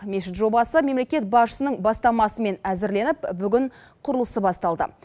мешіт жобасы мемлекет басшысының бастамасымен әзірленіп бүгін құрылысы басталды